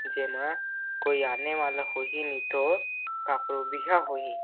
जेमा कोई आने वाला होई ही नि तो काकरो बिहा होही --